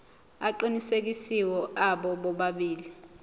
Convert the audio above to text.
aqinisekisiwe abo bobabili